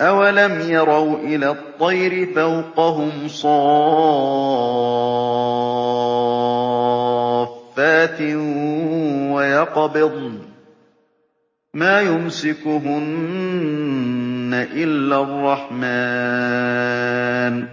أَوَلَمْ يَرَوْا إِلَى الطَّيْرِ فَوْقَهُمْ صَافَّاتٍ وَيَقْبِضْنَ ۚ مَا يُمْسِكُهُنَّ إِلَّا الرَّحْمَٰنُ ۚ